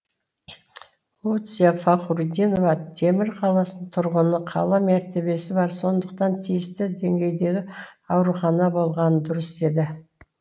луция фахрутдинова темір қаласының тұрғыны қала мәртебесі бар сондықтан тиісті деңгейдегі аурухана болғаны дұрыс деді